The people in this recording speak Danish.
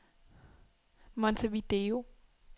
Montevideo